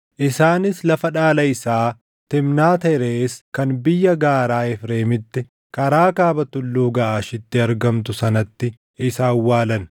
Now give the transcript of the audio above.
Isaanis lafa dhaala isaa Timnaat Herees kan biyya gaaraa Efreemitti karaa kaaba Tulluu Gaʼaashitti argamtu sanatti isa awwaalan.